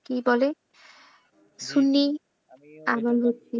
কি বলে? সুন্নি আমি যে কি,